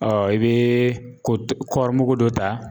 i bɛ ko kɔɔri mugu dɔ ta.